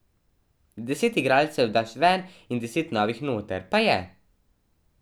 Deset igralcev daš ven in deset novih noter, pa je.